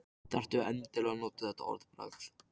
Þarftu endilega að nota þetta orðbragð?